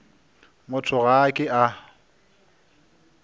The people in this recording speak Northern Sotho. motho ga a ke a